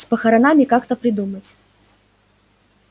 с похоронами как-то придумать